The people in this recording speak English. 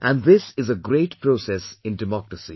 And this is a great process in democracy